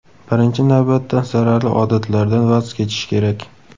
Birinchi navbatda zararli odatlardan voz kechish kerak.